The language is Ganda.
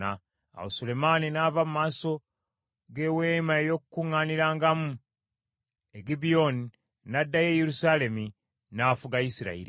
Awo Sulemaani n’ava mu maaso g’Eweema ey’Okukuŋŋaanirangamu e Gibyoni n’addayo e Yerusaalemi. N’afuga Isirayiri.